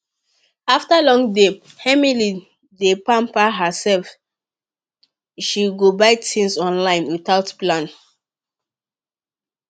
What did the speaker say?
after long day emily d pamper herself she go buy things online without plan